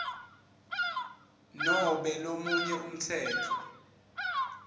nobe lomunye umtsetfo